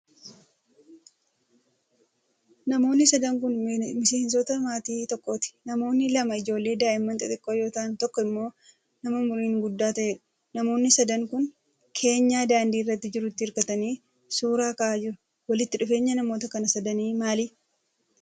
Namoonni sadan kun, miseensota maatii tokkooti. Namoonni lama ijoollee daa'ima xixiqqoo yoo ta'an ,tokko immoo namaumuriin guddaa ta'eedha. Namoonni sadan kun, keenyaa daandii irra jirutti hirkatanii suura ka'aa jiru. Walitti dhufeenya namoota kana sadanii maali?